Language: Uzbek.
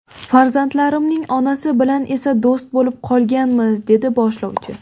Farzandlarimning onasi bilan esa do‘st bo‘lib qolganmiz”, dedi boshlovchi.